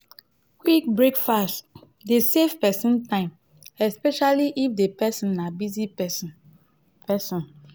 quick breakfast dey save person time especially if di person na busy person person